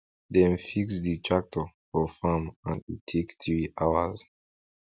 dem fix di tractor for farm and e take three hours